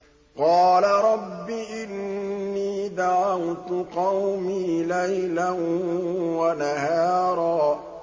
قَالَ رَبِّ إِنِّي دَعَوْتُ قَوْمِي لَيْلًا وَنَهَارًا